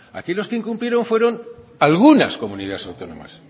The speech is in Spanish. aquí los que quienes incumplieron fueron algunas comunidades autónomas